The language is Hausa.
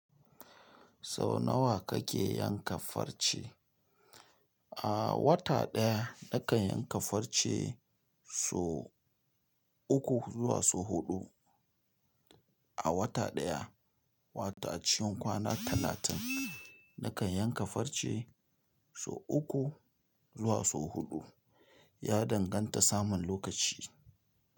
Sau nawa kake yanka farce? A wata ɗaya nakan yanka farce sau uku zuwa sau huɗu. A wata ɗaya wato acikin kwana talatin ina yanke farce sau uku zuwa sau huɗu. Ya danganta saman lokaci.